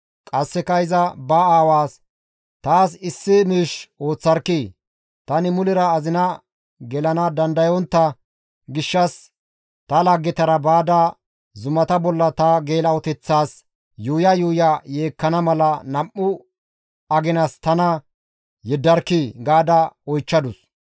Qasseka iza ba aawaas, «Taas issi miish ooththarkkii! Tani mulera azina gelana dandayontta gishshas ta laggetara baada zumata bolla ta geela7oteththaas yuuya yuuya yeekkana mala nam7u aginas tana yeddarkkii!» gaada oychchadus.